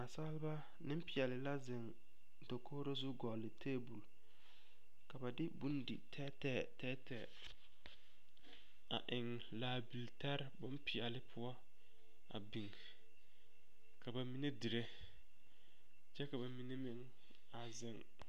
Nasalba niŋpeɛli la ziŋ dakogro zu gɔli taabol la ba de bondi tɛɛtɛɛ a eŋ laabil tɛre boŋ peɛli poɔ a biŋ ka ba mine diri kyɛ ka ba mine meŋ a ziŋ.